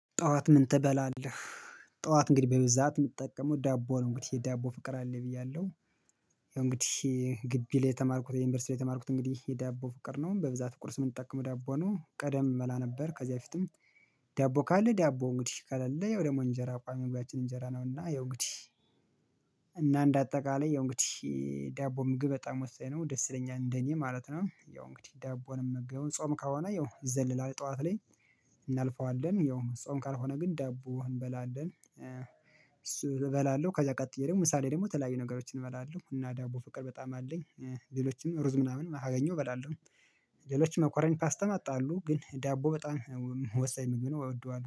ጠዋት ምን ትበላለህ? ጠዋት እንግዲህ በብዛት የምትጠቀመው ዳቦ ነው እንግዲህ ዳቦ ፍቅር አለኝ ብያለሁ። እንግዲህ ግቢ ላይ የተማርኩት የዩኒቨርሲቲ ላይ የተማርኩት እንግዲህ የዳቦ ፍቅር ነው በብዛት ቁርስ የምንጠቀመው ዳቦ ነው ቀደም እበላ ነበር ከዚያ በፊትም። ዳቦ ካለ ዳቦ እንግዲህ ከሌለ ያው ደግሞ እንጀራ ቋሚ ምግባችን እንጀራ ነውና ያው እንግዲህ። እና እንደ አጠቃላይ ያው እንግዲህ ዳቦ ምግብ በጣም ወሳኝ ነው ደስ ይለኛል እንደኔ ማለት ነው። ያው እንግዲህ ዳቦን የምንገባው ጾም ከሆነ ያው ይዘልላል ጠዋት ላይ። እናልፈዋለን ያው ጾም ካልሆነ ግን ዳቦ እንበላለን እሱ እበላለሁ ከዛ ቀጥዬ ደግሞ ምሳ ላይ ደግሞ ተለያዩ ነገሮችን እበላለሁ እና ዳቦ ፍቅር በጣም አለኝ። ሌሎችም ሩዝ ምናምን ካገኘው እበላለሁ። ሌሎችም መኮረኒካ ፓስታ አሉ ግን ዳቦ በጣም ወሳኝ ምግብ ነው እወደዋል